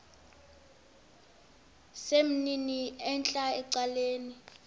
sesimnini entla ecaleni